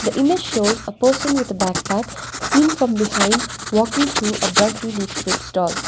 the image shows a person with a backpack seen from behind walking through a brightly lit fruit stall.